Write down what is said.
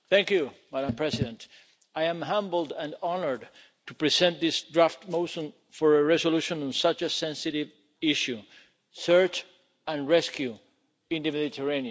Madam President, I am humbled and honoured to present this draft motion for a resolution on such a sensitive issue search and rescue in the Mediterranean.